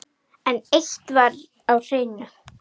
En eitt var á hreinu.